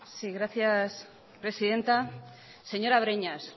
sí gracias presidenta señora breñas